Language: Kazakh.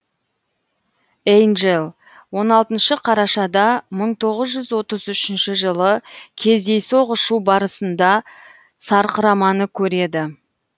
эйнджел он алтыншы қарашада мың тоғыз жүз отыз ушінші жылы кездейсоқ ұшу барысында сарқыраманы көреді